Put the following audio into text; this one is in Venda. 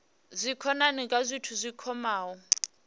dzikhonani kha zwithu zwi kwamaho